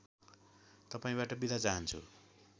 तपाईँबाट बिदा चाहन्छु